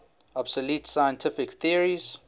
obsolete scientific theories